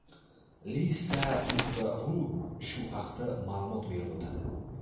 Lisa.ru shu haqida ma’lumot berib o‘tadi .